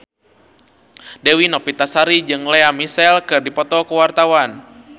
Dewi Novitasari jeung Lea Michele keur dipoto ku wartawan